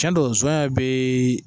Tiɲɛ don zɔnɲɛ bi